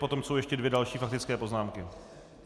Potom jsou ještě další dvě faktické poznámky.